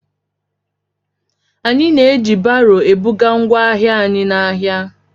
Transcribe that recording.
Anyị na-eji baro ebuga ngwa ahịa anyị n'ahia.